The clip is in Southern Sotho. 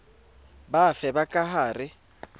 bafe ba ka ha re